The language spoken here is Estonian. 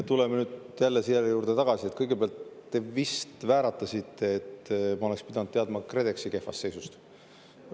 Tuleme nüüd jälle selle juurde tagasi, et kõigepealt te vist vääratasite, et ma oleksin pidanud teadma KredExi kehvast seisust.